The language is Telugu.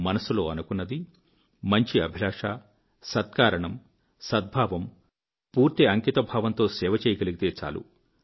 మనసులో అనుకున్నది మంచి అభిలాష సత్కారణం సద్భావం పూర్తి అంకితభావంతో సేవ చేయగలిగితే చాలు